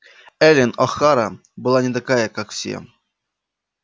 эллин охара была не такая как все